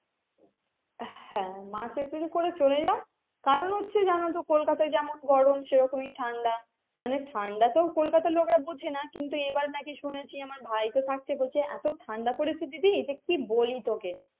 হ্যাঁ March April করে চলে যাও কারণ হচ্ছে জানো তো কলকাতায় যেমন গরম সেরকমই ঠান্ডা মানে ঠান্ডা তো কলকাতা লোকেরা বোঝেনা কিন্তু এবার নাকি শুনেছি ভাই তো থাকছে বলছে এত ঠান্ডা পড়েছে দিদি কি বলি তোকে।